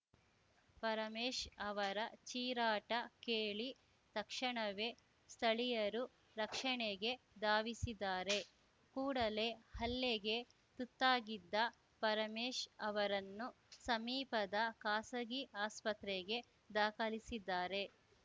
ಪರಮೇಶ್‌ ಅವರ ಚೀರಾಟ ಕೇಳಿ ತಕ್ಷಣವೇ ಸ್ತಳೀಯರು ರಕ್ಷಣೆಗೆ ಧಾವಿಸಿದ್ದಾರೆ ಕೂಡಲೇ ಹಲ್ಲೆಗೆ ತುತ್ತಾಗಿದ್ದ ಪರಮೇಶ್‌ ಅವರನ್ನು ಸಮೀಪದ ಖಾಸಗಿ ಆಸ್ಪತ್ರೆಗೆ ದಾಖಲಿಸಿದ್ದಾರೆ